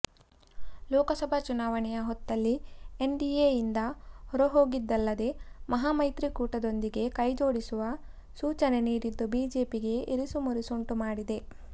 ಲೋಕಸಭಾ ಚುನಾವಣೆಯ ಹೊತ್ತಲ್ಲಿ NDA ಯಿಂದ ಹೊರಹೋಗಿದ್ದಲ್ಲದೆ ಮಹಾಮೈತ್ರಿಕೂಟದೊಂದಿಗೆ ಕೈಜೋಡಿಸುವ ಸೂಚನೆ ನೀಡಿದ್ದು ಬಿಜೆಪಿಗೆ ಇರಿಸುಮುರಿಸುಂಟು ಮಾಡಿದೆ